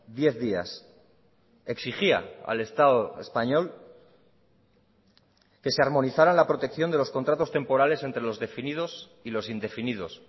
diez días exigía al estado español que se armonizara la protección de los contratos temporales entre los definidos y los indefinidos